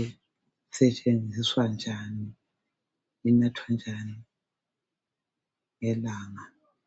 isetshenziswa njani, inathwa njani ngelanga.